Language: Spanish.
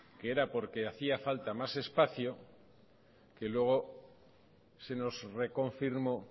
que era porque hacía falta más espacio que luego se nos reconfirmó